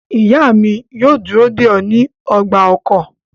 Iya mi yoo duro de ọ ni ọgba-ọkọ